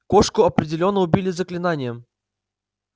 кошку определённо убили заклинанием